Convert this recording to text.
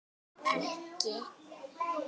En þó ekki.